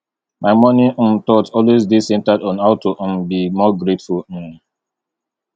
my morning um thought always dey centered on how to um be more grateful um